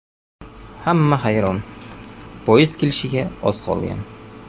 Hamma hayron, poyezd kelishiga oz qolgan.